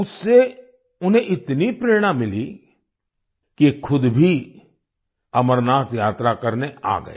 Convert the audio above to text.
उससे उन्हें इतनी प्रेरणा मिली कि ये खुद भी अमरनाथ यात्रा करने आ गए